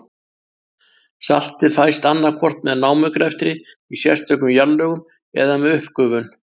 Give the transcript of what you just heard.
Saltið fæst annað hvort með námugreftri í sérstökum jarðlögum eða með uppgufun.